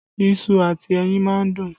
Iṣu àti ẹyin máa ń dùn